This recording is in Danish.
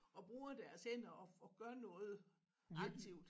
Og bruger deres hænder og og gør noget aktivt